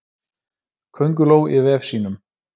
Könguló í vef sínum.